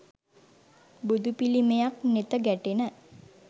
බුදු පිළිමයක් නෙත ගැටෙන